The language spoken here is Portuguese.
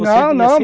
Não, não.